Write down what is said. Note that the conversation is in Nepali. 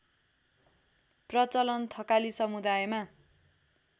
प्रचलन थकाली समुदायमा